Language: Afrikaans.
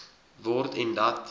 word en dat